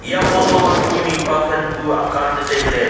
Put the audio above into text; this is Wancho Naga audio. eya photo ma kue mihpa than bu akan ley tailey.